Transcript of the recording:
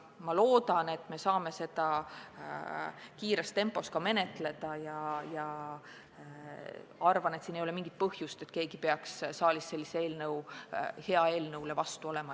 Ma loodan, et me saame seda kiiresti menetleda, ja arvan, et ei ole mingit põhjust, miks peaks keegi siin saalis sellise hea eelnõu vastu olema.